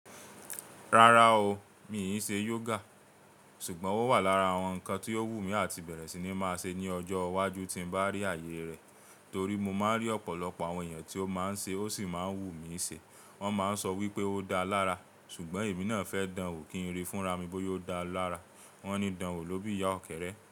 Rárá o, mi i ṣe yoga. Ṣùgbọ́n ó wà lára àwọn ǹkan tí o wù mí àti bẹ̀rẹ̀ sí ní máa ṣe ní ọjọ́ iwájú tí n bá rí àyè rẹ̀. Torí mo máa ń rí ọ̀pọ̀lọpọ̀ àwọn ẹ̀yàn tí ó máa ń ṣe ó sì máa ń wù mí ṣe. Wọ́n máa ń sọ wípé ó dáa lára, ṣùgbọ́n èmi náà fẹ́ dán wò kí n rí fúnra mi bóyá ó dáa lára. Wọ́n ní dán wò lóbí ìyá ọ̀kẹ́rẹ́